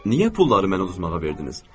Niyə pulları mənə uduzmağa verdiniz?